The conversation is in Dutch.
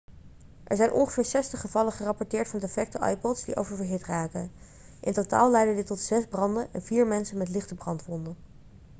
er zijn ongeveer 60 gevallen gerapporteerd van defecte ipods die oververhit raken in totaal leidde dit tot zes branden en vier mensen met lichte brandwonden